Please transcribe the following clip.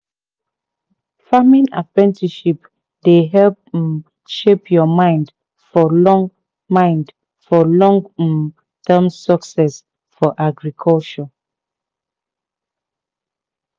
farming apprenticeship dey help um shape your mind for long mind for long um term success for agriculture